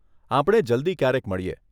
આપણે જલ્દી ક્યારેક મળીએ.